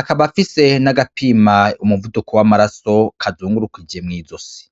akaba afise n'agapima umuvuduko w'amaraso kazungurukije mw'izosi.